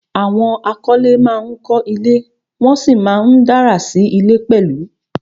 Àwọn akọ́lé ma ń kọ́ ilé, wọ́n sì ma ń dárà sí ilé pẹ̀lú